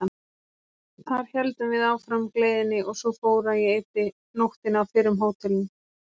Þar héldum við áfram gleðinni og svo fór að ég eyddi nóttinni á fyrrum hótelinu.